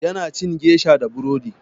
Ya na cin gesha da burodi.